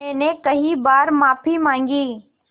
मैंने कई बार माफ़ी माँगी